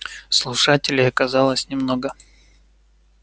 слушателей оказалось немного